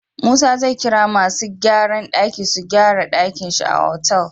Musa zai kira masu gyran daki su gyara dakin shi da otal